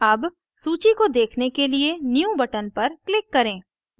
अब सूची को देखने के लिए new button पर click करें